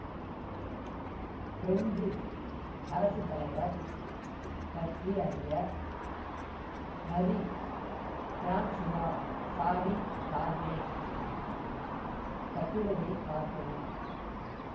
French அரசு தலைவர் பற்றி அறிய மரீ பிரான்சுவா சாடி கார்னே கட்டுரையை பார்க்கவும்